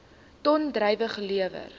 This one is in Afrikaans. ton druiwe gelewer